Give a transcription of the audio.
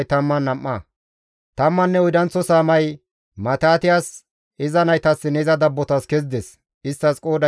Tammanne oydanththo saamay Matitiyas, iza naytassinne iza dabbotas kezides; isttas qooday 12.